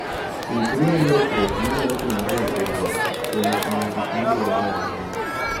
Ikri ne lokruok manyalo timore apoya kuom ting'o gik madwarore ahinya.